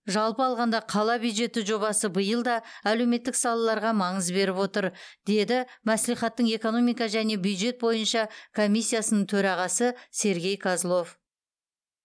жалпы алғанда қала бюджеті жобасы биыл да әлеуметтік салаларға маңыз беріп отыр деді мәслихаттың экономика және бюджет бойынша комиссиясының төрағасы сергей козлов